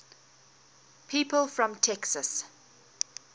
people from texas